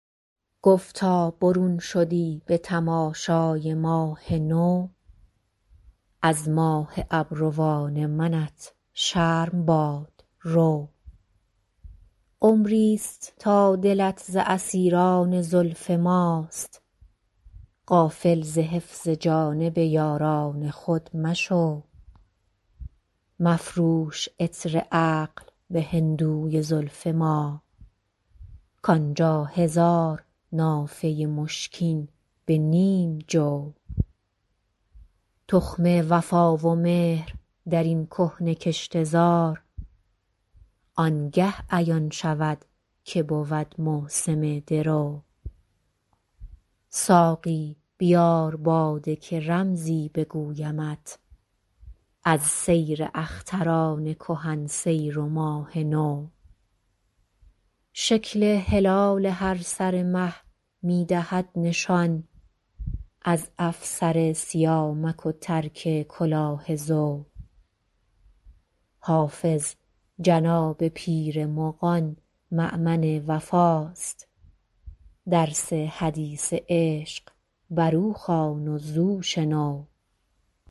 گفتا برون شدی به تماشای ماه نو از ماه ابروان منت شرم باد رو عمری ست تا دلت ز اسیران زلف ماست غافل ز حفظ جانب یاران خود مشو مفروش عطر عقل به هندوی زلف ما کان جا هزار نافه مشکین به نیم جو تخم وفا و مهر در این کهنه کشته زار آن گه عیان شود که بود موسم درو ساقی بیار باده که رمزی بگویمت از سر اختران کهن سیر و ماه نو شکل هلال هر سر مه می دهد نشان از افسر سیامک و ترک کلاه زو حافظ جناب پیر مغان مأمن وفاست درس حدیث عشق بر او خوان و زو شنو